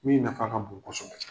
Du In nafa ka bon kosɛbɛ.